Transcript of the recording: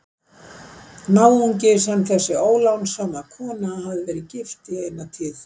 Náungi sem þessi ólánssama kona hafði verið gift í eina tíð.